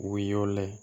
U bɛ y'o layɛ